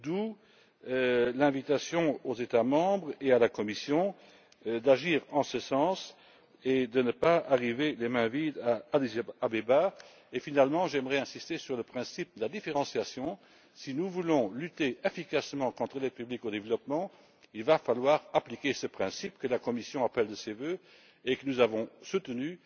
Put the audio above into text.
D'où l'invitation aux États membres et à la Commission d'agir en ce sens et de ne pas arriver les mains vides à Addis Abeba. Enfin, j'aimerais insister sur le principe de la différenciation si nous voulons agir efficacement dans le domaine de l'aide publique au développement, il va falloir appliquer ce principe, que la Commission appelle de ses vœux et que nous avons soutenu,